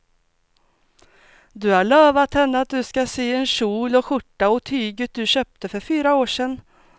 Du har lovat henne att du ska sy en kjol och skjorta av tyget du köpte för fyra år sedan.